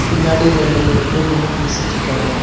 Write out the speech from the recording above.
பின்னாடி ரெண்டு மூணு பேர் நின்னு பேசிட்ருக்காங்க.